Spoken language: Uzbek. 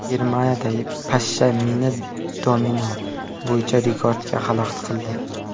Germaniyada pashsha mini-domino bo‘yicha rekordga xalaqit qildi.